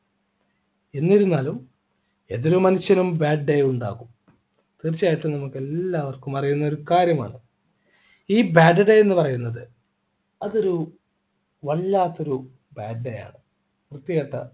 എന്നിരുന്നാലും ഏതൊരു മനുഷ്യനും bad day ഉണ്ടാകും തീർച്ചയായിട്ടും നമുക്കെല്ലാവർക്കും അറിയുന്ന ഒരു കാര്യമാണ് ഇ bad day എന്ന് പറയുന്നത് അതൊരു വല്ലാത്തൊരു bad day ആണ് വൃത്തികെട്ട